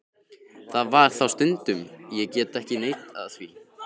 Það var það stundum, ég get ekki neitað því.